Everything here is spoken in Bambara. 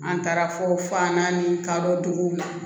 An taara fɔ fa naani kadɔ duguw la